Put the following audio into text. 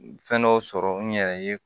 Fɛn dɔw sɔrɔ n yɛrɛ ye